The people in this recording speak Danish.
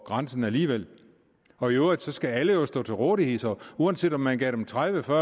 grænsen alligevel og i øvrigt skal alle jo stå til rådighed så uanset om man gav dem tredivetusind